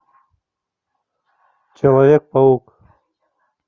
человек паук